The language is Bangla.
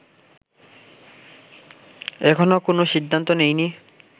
এখনো কোন সিদ্ধান্ত নেইনি